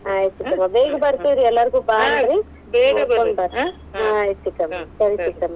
ಆಯ್ತ್ ಚಿಕ್ಕಮ್ಮ ಬೇಗ ಬತೇ೯ವ್ರೀ, ಎಲ್ಲಾಗು೯ ಬಾ ಅನ್ರೀ. ಹಾ ಆಯ್ತು ಚಿಕ್ಕಮ್ಮ ಸರಿ ಚಿಕ್ಕಮ್ಮ.